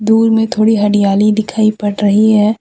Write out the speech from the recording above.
Tour में थोड़ी हरियाली दिखाई पड़ रही है।